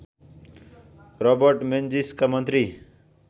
Robert मेन्जिसका मन्त्री